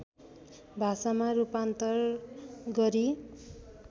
भाषामा रूपान्तर गरी